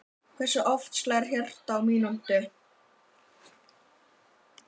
Hversu oft slær hjartað á mínútu?